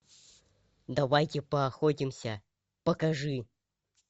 давайте поохотимся покажи